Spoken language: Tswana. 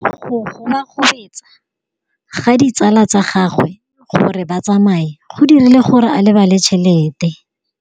Go gobagobetsa ga ditsala tsa gagwe, gore ba tsamaye go dirile gore a lebale tšhelete.